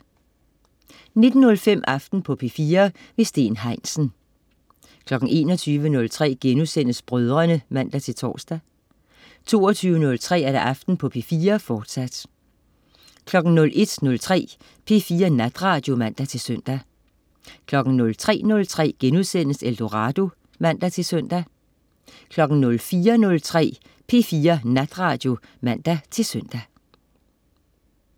19.05 Aften på P4. Steen Heinsen 21.03 Brødrene* (man-tors) 22.03 Aften på P4, fortsat 01.03 P4 Natradio (man-søn) 03.03 Eldorado* (man-søn) 04.03 P4 Natradio (man-søn)